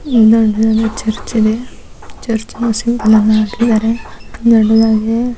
ಇಲ್ಲೊಂದು ಚರ್ಚ್ ಇದೆ ಚುರ್ಚ್ನ ಹಾಕಿದರೆ ದೊಡ್ಡದಾಗಿದೆ.